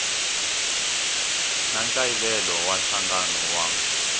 na nkayivelo wa nhlangano wa